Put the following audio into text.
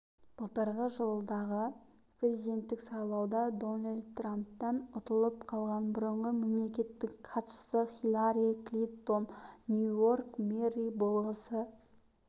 былтырғы жылдағы президенттік сайлауда дональд трамптан ұтылып қалған бұрынғы мемлекеттік хатшысы хиллари клинтон нью-йорк мэрі болғысы